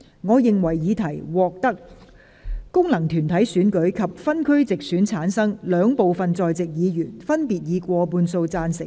我認為議題獲得經由功能團體選舉產生及分區直接選舉產生的兩部分在席議員，分別以過半數贊成。